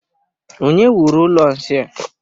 Onye wuru ụlọ nsị a?